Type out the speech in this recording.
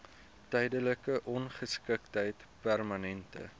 tydelike ongeskiktheid permanente